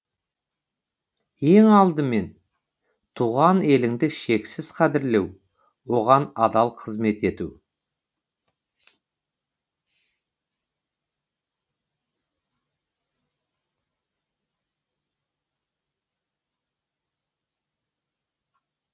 ең алдымен туған еліңді шексіз қадірлеу оған адал қызмет ету